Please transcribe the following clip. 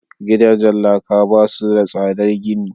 gidajen laka ba su da tsadar gini